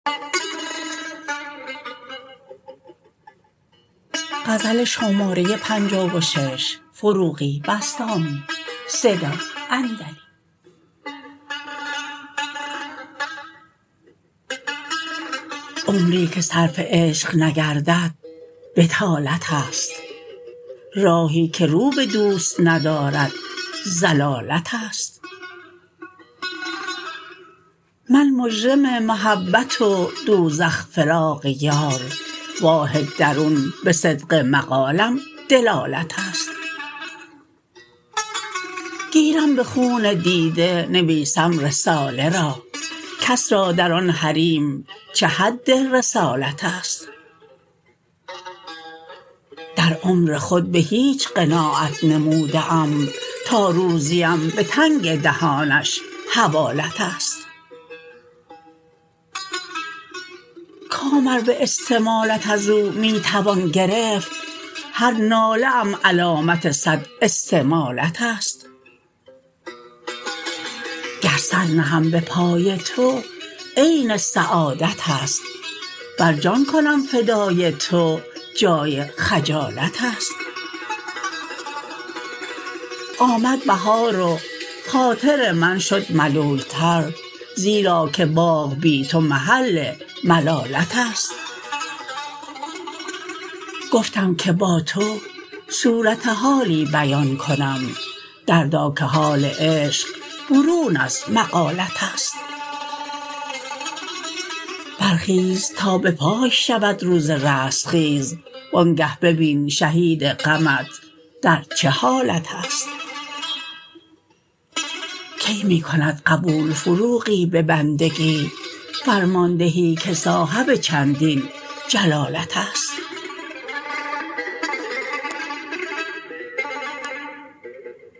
عمری که صرف عشق نگردد بطالت است راهی که رو به دوست ندارد ضلالت است من مجرم محبت و دوزخ فراق یار واه درون به صدق مقالم دلالت است گیرم به خون دیده نویسم رساله را کس را در آن حریم چه حد رسالت است در عمر خود به هیچ قناعت نموده ام تا روزیم به تنگ دهانش حوالت است کام ار به استمالت ازو می توان گرفت هر ناله ام علامت صد استمالت است گر سر نهم به پای تو عین سعادت است ور جان کنم فدای تو جای خجالت است آمد بهار و خاطر من شد ملول تر زیرا که باغ بی تو محل ملالت است گفتم که با تو صورت حالی بیان کنم دردا که حال عشق برون از مقالت است برخیز تا به پای شود روز رستخیز وآنگه ببین شهید غمت در چه حالت است کی می کند قبول فروغی به بندگی فرماندهی که صاحب چندین جلالت است